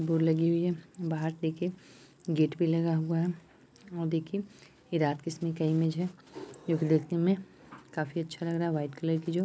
board लगी हुई है बाहर देखिये गेट भी लगा हुआ है देखिये ये रात के समय का है इमेज है जो की देखने में काफी अच्छी लग रहा है वाइट कलर की जो--